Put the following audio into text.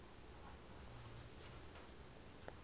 baltic sea coast